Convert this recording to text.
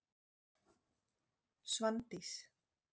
Svandís